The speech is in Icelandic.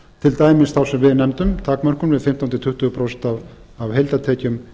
til dæmis þá sem við nefndum takmörkun við fimmtán til tuttugu prósent af heildartekjum